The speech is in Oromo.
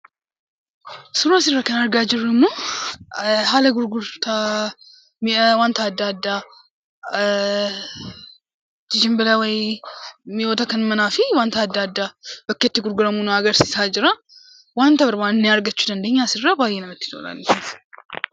Suuraan asirratti argaa jirru immoo haala gurgurtaa mi'a adda addaa, mi'oota kan manaa fi wantoota adda addaa bakkee itti gurgurru nu agarsiisaa jira.